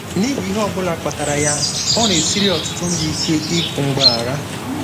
N'ihi ihe ọ bụla kpatara ya, ọ na-esiri ọtụtụ ndị ike ikwu mgbaghara.